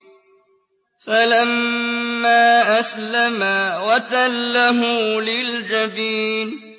فَلَمَّا أَسْلَمَا وَتَلَّهُ لِلْجَبِينِ